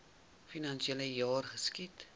finansiele jaar geskied